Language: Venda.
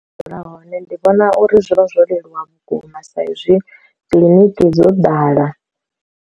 Dzula hone ndi vhona uri zwi vha zwo leluwa vhukuma sa izwi kiḽiniki dzo ḓala.